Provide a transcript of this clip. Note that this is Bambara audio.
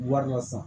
Wari la sa